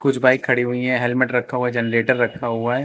कुछ बाइक खड़ी हुई हैं हेल्मेट रखा हुआ है जनरेटर रखा हुआ है।